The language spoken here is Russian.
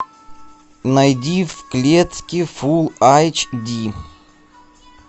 найди в клетке фулл айч ди